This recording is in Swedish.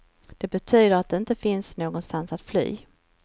Det betyder att det inte finns någonstans att fly.